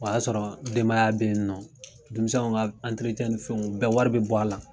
O y'a sɔrɔ denbaya bɛ yen nɔ, denmisɛnw ka ni fɛnw, o bɛɛ wari bi bɔ a la.